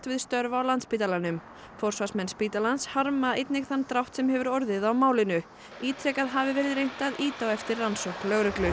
við störf á spítalanum forsvarsmenn spítalans harma einnig þann drátt sem hefur orðið á málinu ítrekað hafi verið reynt að ýta á eftir rannsókn lögreglu